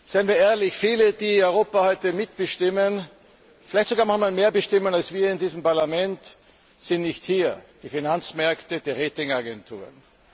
Seien wir ehrlich Viele, die Europa heute mitbestimmen, vielleicht sogar manchmal mehr bestimmen als wir in diesem Parlament, sind nicht hier die Finanzmärkte, die Ratingagenturen.